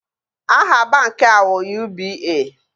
Aha banki a ụ UBA